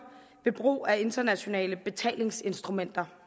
ved brug af internationale betalingsinstrumenter